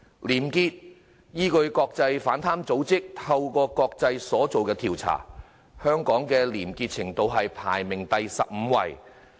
廉潔方面，依據國際反貪組織"透明國際"所作的調查，香港的廉潔程度排名第十五位。